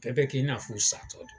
Bɛɛ bɛ k'i n'a fɔ u' satɔ don.